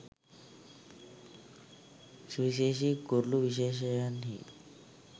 සුවිශේෂි කුරුළු විශේෂයන්හි